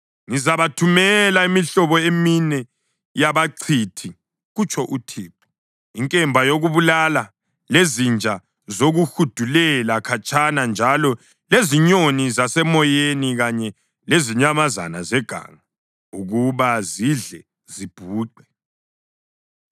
Ngizabathumela imihlobo emine yabachithi,” kutsho uThixo, “inkemba yokubulala lezinja zokuhudulela khatshana njalo lezinyoni zasemoyeni kanye lezinyamazana zeganga ukuba zidle zibhuqe.